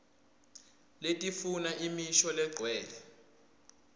letifuna imisho legcwele